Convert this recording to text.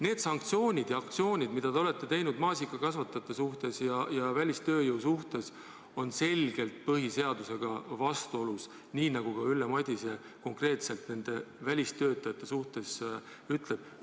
Need sanktsioonid ja aktsioonid, mida te olete teinud maasikakasvatajate suhtes ja välistööjõu suhtes, on selgelt põhiseadusega vastuolus, nii nagu ka Ülle Madise konkreetselt nendest välistöötajatest rääkides ütleb.